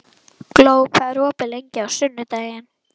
Gló, hvað er opið lengi á sunnudaginn?